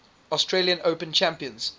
australian open champions